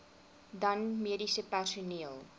dan mediese personeel